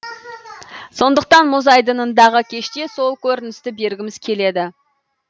сондықтан мұз айдынындағы кеште сол көріністі бергіміз келеді